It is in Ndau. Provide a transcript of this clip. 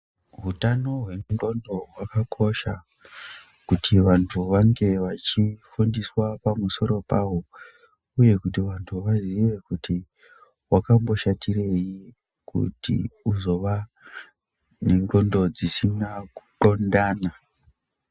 Utano hwendxondo dzemunhu hwakakosha kuti vantu vange vachifundiswa pamusoro pahwo uye kuti vantu vaziye kuti wakamboshatirei kuti uzowa nenxondo dzisina kuxondana.